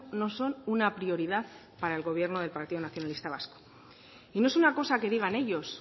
no son una prioridad para el gobierno del partido nacionalista vasco y no es una cosa que digan ellos